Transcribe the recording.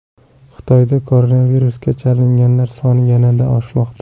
Xitoyda koronavirusga chalinganlar soni yana oshmoqda.